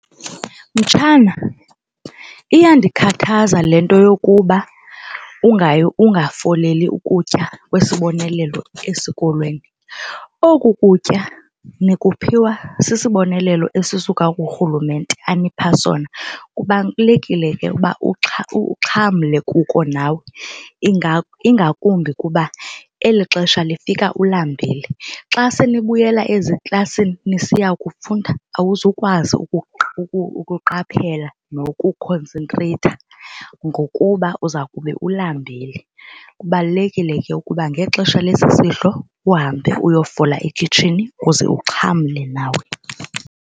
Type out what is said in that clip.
Mtshana, iyandikhathaza le nto yokuba ungayi ukungafoleli ukutya kwesiboneleelo esikolweni. Oku kutya nikuphiwa sisibonelelo esisuka kuRhulumente anipha sona. Kubalulekile ke ukuba uxhamle kuko nawe, ingakumbi kuba eli xesha lifika ulambile. Xa senibuyela eziklasini nisiya kufunda awuzukwazi ukuqaphela nokukhonsentreyitha ngokuba uza kube ulambile. Kubalulekile ke ukuba ngexesha lesi sidlo uhambe uyofola ekhitshini uze uxhamle nawe.